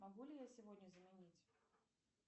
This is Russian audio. могу ли я сегодня заменить